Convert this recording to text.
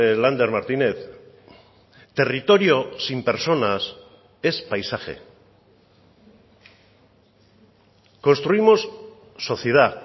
lander martínez territorio sin personas es paisaje construimos sociedad